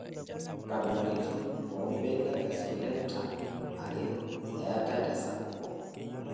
Nkabilaritin oo mbenek e slender are eatae tesapuko.